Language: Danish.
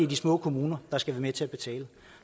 de små kommuner der skal være med til at betale